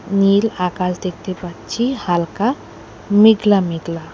নীল আকাশ দেখতে পাচ্ছি হালকা মেঘলা মেঘলা।